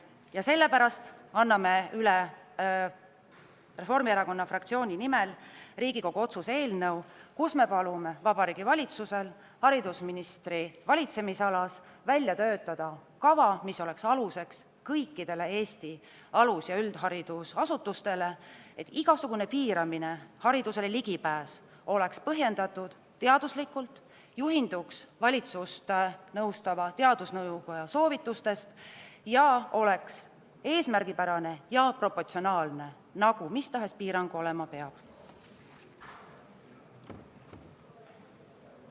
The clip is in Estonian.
Ja sellepärast anname Reformierakonna fraktsiooni nimel üle Riigikogu otsuse eelnõu, millega palume Vabariigi Valitsusel töötada haridusministri valitsemisalas välja kava, mis oleks aluseks kõikidele Eesti alus- ja üldharidusasutustele, et igasugune haridusele ligipääsu piiramine oleks teaduslikult põhjendatud, juhinduks valitsust nõustava teadusnõukoja soovitustest ning oleks eesmärgipärane ja proportsionaalne, nagu mis tahes piirang olema peab.